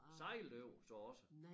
Sejlede du over så også?